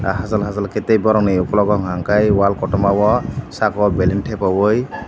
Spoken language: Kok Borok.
hachal hachal ke tei borok ni okologo hingka kei wall kotorma o saka o bellon tepa yoi.